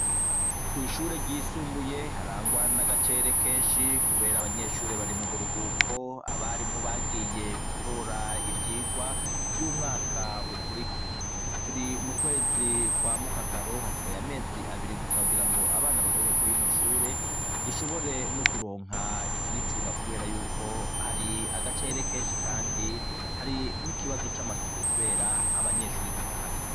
Kw'ishure ryisumbuye, harangwa n'agacerere kenshi kubera abanyeshure bari mu buruhuko. Abarimu bagiye gutora ivyigwa vy'umwaka ukurikiye. Turi mu kwezi kwa Mukakaro, hasigaye amezi abiri gusa kugira ngo abana bagaruke kwa rino shure, rishobore no kuronka ikiricunga kubera yuko hari agacerere kenshi kandi hari n'ikibazo c'amasuku kubera abanyeshuri batahari.